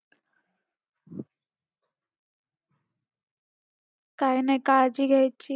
काय नाही काळजी घ्यायची.